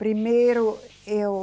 Primeiro eu...